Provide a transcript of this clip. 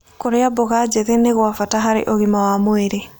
Kũrĩa mmboga njĩthĩ nĩ gwa bata harĩ ũgima wa mwĩlĩ